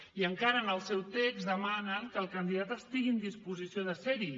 i encara en el seu text demanen que el candidat estigui en disposició de ser hi